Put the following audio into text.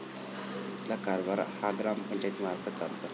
इथला कारभार हा ग्रामपंचायतीमार्फत चालतो.